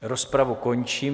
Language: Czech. Rozpravu končím.